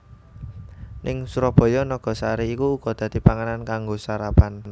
Ning Surabaya nagasari iku uga dadi panganan kanggo sarapan